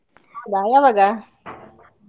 ಯಾವಾಗ?